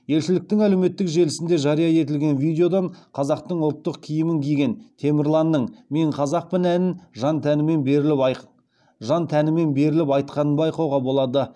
елшіліктің әлеуметтік желісінде жария етілген видеодан қазақтың ұлттық киімін киген темірланның мен қазақпын әнін жан тәнімен беріліп айтқанын байқауға болады